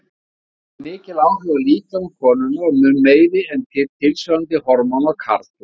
Þau hafa mikil áhrif á líkama konunnar og mun meiri en tilsvarandi hormón á karla.